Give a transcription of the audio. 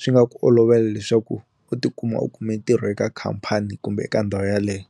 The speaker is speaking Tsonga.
swi nga ku olovela leswaku u tikuma u kume ntirho eka khampani kumbe eka ndhawu yaleyo.